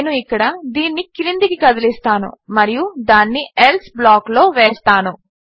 నేను ఇక్కడ దీనిని క్రిందికి కదిలిస్తాను మరియు దానిని ఎల్సే బ్లాక్లో వేస్తాను